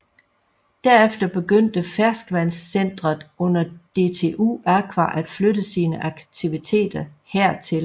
Derefter begyndte Ferskvandscentret under DTU Aqua at flytte sine aktiviteter her til